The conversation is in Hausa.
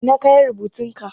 Ina kayan rubutun ka?